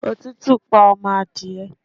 Òtútù pa ọmọ adìye